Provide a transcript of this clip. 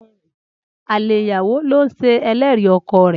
Alè ìyàwó ló ń ṣe ẹlẹ́rìí ọkọ rẹ̀.